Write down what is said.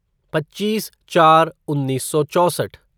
पच्चीस चार उन्नीस सौ चौसठ